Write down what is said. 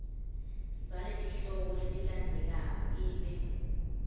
saletihloko letilandzelako ibe